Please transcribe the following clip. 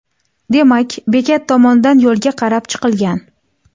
Demak, bekat tomondan yo‘lga qarab chiqilgan.